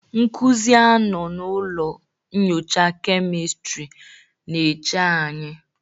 Nkuzi a nọ na ụlọ nyocha kemistri na-eche anyị.